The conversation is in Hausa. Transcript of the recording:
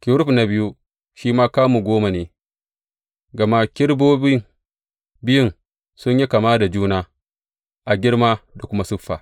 Kerub na biyun shi ma kamu goma ne, gama kerubobi biyun sun yi kama da juna a girma da kuma siffa.